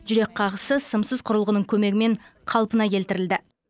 жүрек қағысы сымсыз құрылғының көмегімен қалпына келтірілді